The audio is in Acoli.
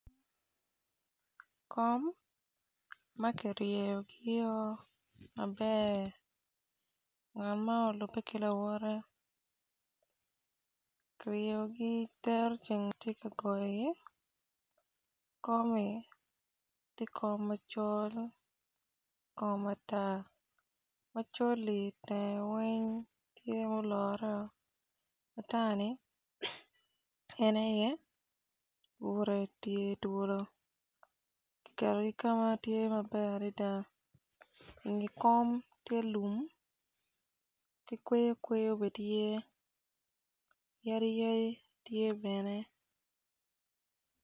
Kom ma ki ryeyogio maber ngat man olupe ki lawotte ki ryegi dero ceng ti ka goyogi komi ti kom macol kom matar macol-li teng weny tye muloreo matar-ni en aye bute tye twolo kiketogi ka ma tye maber adida inge kom tye lum ki kweyo kweyo be tye yadi yadi tye bene